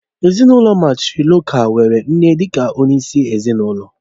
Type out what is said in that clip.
Ezinụlọ mátrịlokál nwere nne dị ka onye isi ezinụlọ